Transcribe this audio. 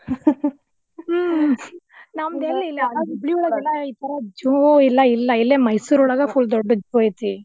ಹ್ಮ್ ನಂದೆಲ್ಲಿ ಇಲ್ಲೆಲ್ಲ ಹುಬ್ಬಳ್ಳಿ ಒಳಗ್ ಈತರ zoo ಇಲ್ಲಾ ಇಲ್ಲಾ ಇಲ್ಲೇ ಮೈಸೂರ್ ಒಳಗ full ದೊಡ್ದ್ದ್ ಐತಿ.